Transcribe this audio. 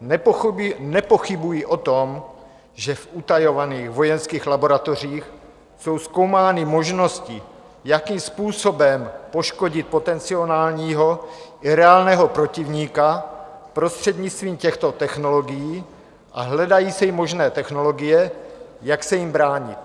Nepochybuji o tom, že v utajovaných vojenských laboratořích jsou zkoumány možnosti, jakým způsobem poškodit potenciálního i reálného protivníka prostřednictvím těchto technologií, a hledají se i možné technologie, jak se jim bránit.